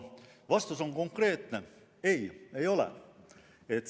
Vastus on konkreetne: ei, ei ole.